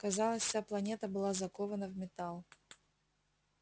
казалось вся планета была закована в металл